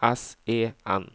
S E N